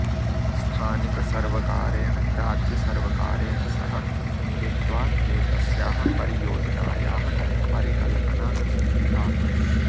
स्थानिकसर्वकारेण राज्यसर्वकारेण सह मिलित्वा एतस्याः परियोजनायाः परिकल्पना चिन्तिता